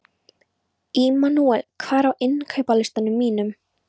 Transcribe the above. Immanúel, hvað er á innkaupalistanum mínum?